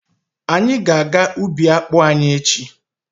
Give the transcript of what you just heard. Anyị ga-aga ubi akpụ anyị echi.